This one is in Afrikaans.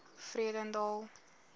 vredendal